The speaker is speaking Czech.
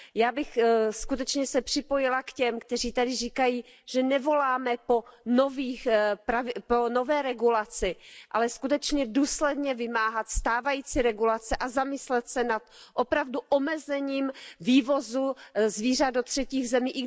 Já bych se připojila k těm, kteří tady říkají, že nevoláme po nové regulaci, ale skutečně důsledně vymáhat stávající regulace a zamyslet se nad opravdu omezením vývozu zvířat do třetích zemí.